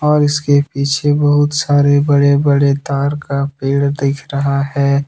और इसके पीछे बहुत सारे बड़े बड़े ताड़ का पेड़ दिख रहा हैं।